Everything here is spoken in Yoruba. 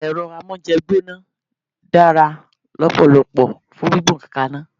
Èro amóúnjegbóná dára lópòlopò fun gbígbé kaná